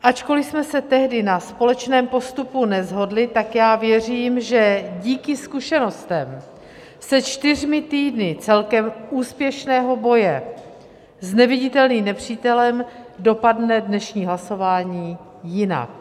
Ačkoliv jsme se tehdy na společném postupu neshodli, tak já věřím, že díky zkušenostem se čtyřmi týdny celkem úspěšného boje s neviditelným nepřítelem dopadne dnešní hlasování jinak.